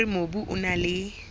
hore mobu o na le